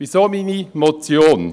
Weshalb meine Motion?